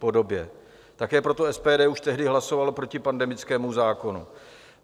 Také proto SPD už tehdy hlasovalo proti pandemickému zákonu.